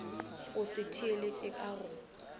go se theeletše go ka